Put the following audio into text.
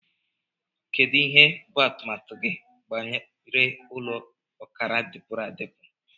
Kedu ihe bụ atụmatụ gị banyere ụlọ ọkara dipuru adipu?